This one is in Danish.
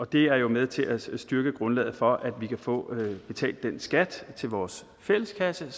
det er jo med til at styrke grundlaget for at vi kan få betalt den skat til vores fælleskasse